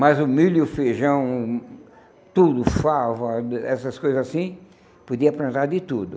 Mas o milho e o feijão, tudo, favo, ah, essas coisas assim, podia plantar de tudo.